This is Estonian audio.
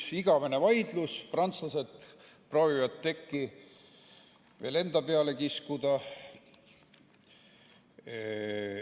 See on igavene vaidlus, prantslased proovivad tekki veel enda peale kiskuda.